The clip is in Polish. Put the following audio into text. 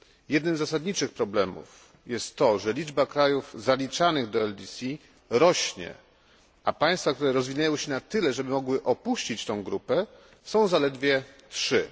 Jednym z zasadniczych problemów jest to, że liczba krajów zaliczanych do LDC rośnie, a państwa, które rozwinęły się na tyle, aby móc opuścić tę grupę są zaledwie trzy.